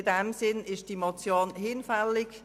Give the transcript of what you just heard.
In diesem Sinn ist die Motion hinfällig.